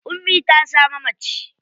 An saka wa yarinyar suna Aisha.